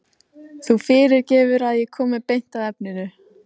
Þú fyrirgefur að ég komi beint að efninu.